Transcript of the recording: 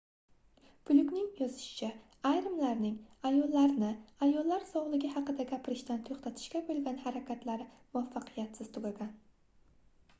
flyukning yozishicha ayrimlarning ayollarni ayollar sogʻligʻi haqida gapirishdan toʻxtatishga boʻlgan harakatlari muvaffaqiyatsiz tugagan